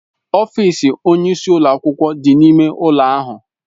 Ọfịs onye isi ụlọ akwụkwọ dị n'ime ụlọ ahụ.